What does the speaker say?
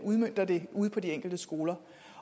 udmønter det ude på de enkelte skoler